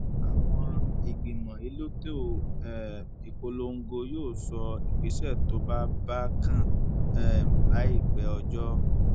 àwọn ìgbìmọ elétò um ìpolongo yóò sọ ìgbésẹ tó bá bá kan um láìpẹ ọjọ